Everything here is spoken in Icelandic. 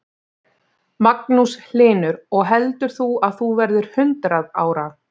Magnús Hlynur: Og heldur þú að þú verðir hundrað ára?